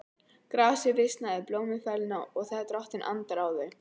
Grasið visnar, blómin fölna, þegar Drottinn andar á þau.